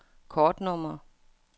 kortnummer